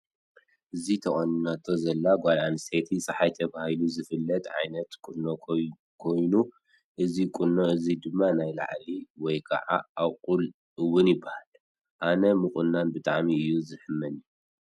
ኣብዚ ተቆኒናቶ ዘላ ጓል ኣነስተይቲ ፀሓይ ተባሂሉ ዝፍለት ዓይነት ቁኖ ኮኑ እዚ ቁኖ እዚ ድማ ናብ ላዕሊ ወይ ከዓ ኣቁል እውን ይበሃል። ኣየ ምቁናን ብጠዕሚ እዩ ዝሕመኒ።